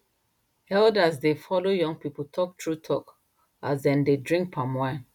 elders dey follow young people talk true talk as dem dey drink palm wine